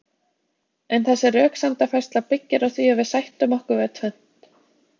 En þessi röksemdafærsla byggir á því að við sættum okkur við tvennt.